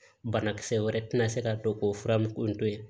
Banakisɛ wɛrɛ tɛna se ka to k'o fura mugu in to yen